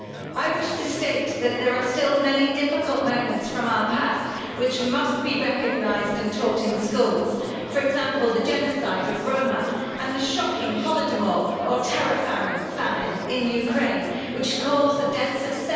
I wish to state that there are still many difficult moments from our past which must be recognised and taught in schools, for example the genocide against Roma, and the shocking Holodomor, or terror famine, in Ukraine which caused the death of